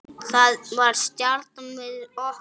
Það var stjanað við okkur.